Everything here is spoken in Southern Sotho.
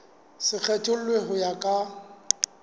se kgethollwe ho ya ka